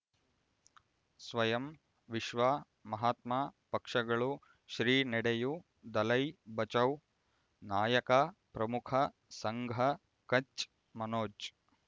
ಸ್ವಯಂ ವಿಶ್ವ ಮಹಾತ್ಮ ಪಕ್ಷಗಳು ಶ್ರೀ ನಡೆಯೂ ದಲೈ ಬಚೌ ನಾಯಕ ಪ್ರಮುಖ ಸಂಘ ಕಚ್ ಮನೋಜ್